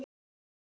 Ég sá það seinna.